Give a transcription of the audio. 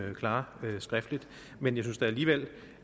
vi klare skriftligt men jeg synes da alligevel